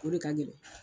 O de ka gɛlɛn